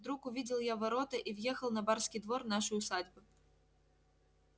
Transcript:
вдруг увидел я ворота и въехал на барский двор нашей усадьбы